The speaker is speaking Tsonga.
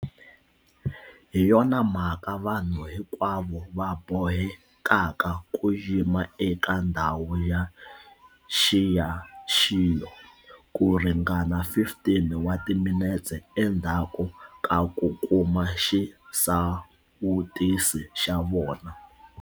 Hi yona mhaka vanhu hinkwavo va bohekaka ku yima eka ndhawu ya nxiyaxiyo ku ringana 15 wa timinete endzhaku ka ku kuma xisawutisi xa vona.